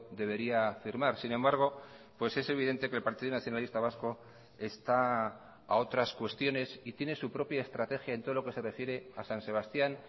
debería firmar sin embargo pues es evidente que el partido nacionalista vasco está a otras cuestiones y tiene su propia estrategia en todo lo que se refiere a san sebastián